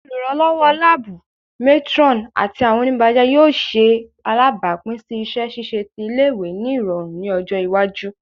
Oluranlọwọ laabu, matron, ati awọn onibajẹ yoo ṣe alabapin si iṣẹ ṣiṣe ti ile-iwe ni irọrun ni ọjọ iwaju